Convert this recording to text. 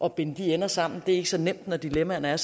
at binde de ender sammen og det er ikke så nemt når dilemmaerne er